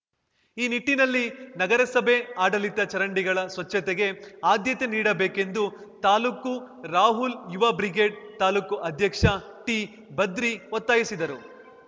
ಈ ನಿಟ್ಟಿನಲ್ಲಿ ನಗರಸಭೆ ಆಡಳಿತ ಚರಂಡಿಗಳ ಸ್ವಚ್ಚತೆಗೆ ಆದ್ಯತೆ ನೀಡಬೇಕೆಂದು ತಾಲ್ಲೂಕು ರಾಹುಲ್‌ ಯುವ ಬ್ರಿಗೇಡ್‌ ತಾಲೂಕು ಅಧ್ಯಕ್ಷ ಟಿಭದ್ರಿ ಒತ್ತಾಯಿಸಿದರು